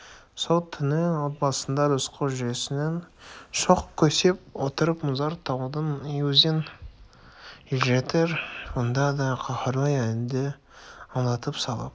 сол түні отбасында рысқұл жүресінен шоқ көсеп отырып мұзарт таудың өзін елжіретер мұңды да қаһарлы әнді ыңылдап салып